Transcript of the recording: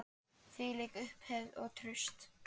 Þvílík upphefð og traust.